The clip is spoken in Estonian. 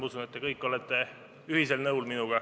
Ma usun, et te kõik olete minuga ühel nõul.